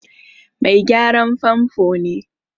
Mai gyaran famfo ne.